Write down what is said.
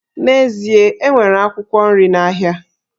N'ezie, e nwere akwụkwọ nri n'ahịa